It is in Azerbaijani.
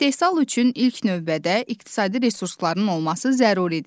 İstehsal üçün ilk növbədə iqtisadi resursların olması zəruridir.